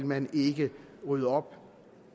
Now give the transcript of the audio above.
man ikke rydde op